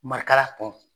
Marikala kun